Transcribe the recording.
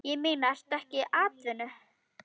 Ég meina, ertu ekki atvinnu